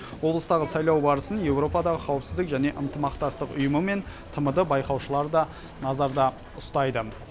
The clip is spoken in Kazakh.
облыстағы сайлау барысын еуропадағы қауіпсіздік және ынтымақтастық ұйымы мен тмд байқаушылары да назарда ұстайды